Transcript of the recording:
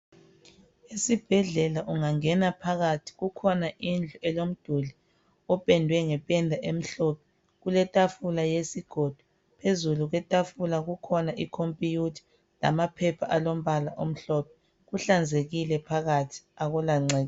Esibhedlela ungangena phakathi kukhona indlu elomduli opendwe ngependa emhlophe. Kuletafula yesigodo. Phezulu kwetafula kukhona I computer lamaphepha alombala omhlophe. Kuhlanzekile phakathi akula ngcekeza.